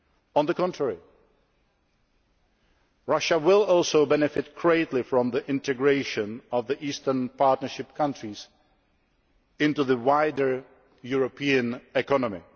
On the contrary, Russia will also benefit greatly from the integration of the Eastern Partnership countries into the wider European economy.